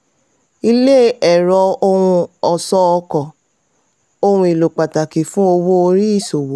ilé ẹ̀rọ ohun ọ̀ṣọ́ ọkọ̀: ohun èlò pátákì fún owó-orí ìṣòwò.